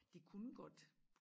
De kunne godt